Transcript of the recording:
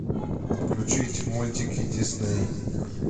включить мультики дисней